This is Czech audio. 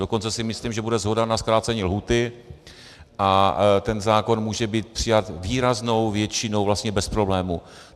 Dokonce si myslím, že bude shoda na zkrácení lhůty a ten zákon může být přijat výraznou většinou vlastně bez problémů.